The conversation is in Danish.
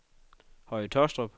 Høje Tåstrup